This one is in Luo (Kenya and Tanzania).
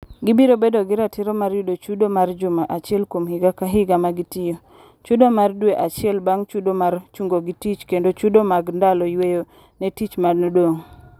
Gibiro bedo gi ratiro mar yudo chudo mar juma achiel kuom higa ka higa ma gitiyo, chudo mar dwe acheil bang' chudo mar chungogi tich kendo chudo mag dalo yweyo ne tich manodong'.